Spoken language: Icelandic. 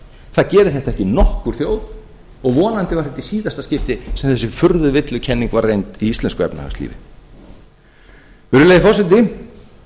það gerir þetta ekki nokkur þjóð og vonandi verður þetta í síðasta skipti sem þessi furðuvillukenning var reynd í íslensku efnahagslífi virðulegi forseti